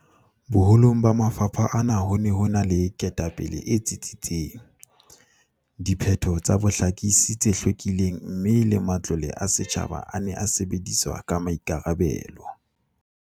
Boho long ba mafapha ana ho ne ho ena le ketapele e tsitsitseng, diphetho tsa bohlakisi tse hlwekileng mme le matlole a setjhaba a ne a sebediswa ka maikarabelo.